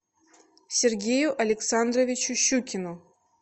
сергею александровичу щукину